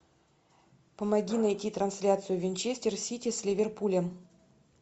помоги найти трансляцию винчестер сити с ливерпулем